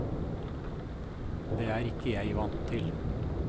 Det er ikke jeg vant til.